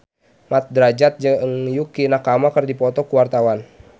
Mat Drajat jeung Yukie Nakama keur dipoto ku wartawan